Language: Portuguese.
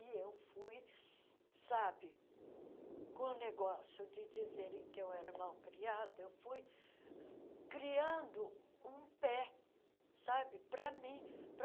E eu fui, sabe, com o negócio de dizerem que eu era mal criada, eu fui criando um pé, sabe, para mim. para